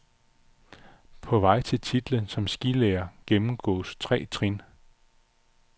På vej til titlen som skilærer gennemgås tre trin.